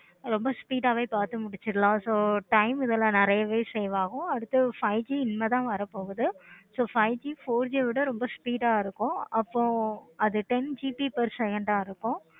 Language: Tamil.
romba speed ஆஹ் வே so time இதெல்லாம் நிறையவே save ஆகும். இனிமேல் தான் வர போகுது. so five G four G ஆஹ் விட ரொம்ப speed ஆஹ் இருக்கும். அப்போ அது ten GB per second ஆஹ் இருக்கும்.